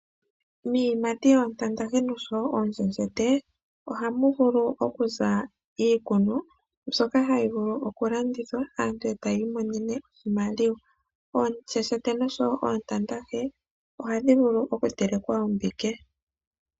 Iiyimati yoontantahe oshowoo oonshenshete ohamu vulu okuza iikunwa mbyoka hayi vulu okulandithwa , aantu ohaya imonenemo iiyemo . Oonshenshete oshowoo oontantahe ohadhi vulu okutelekwa ombike.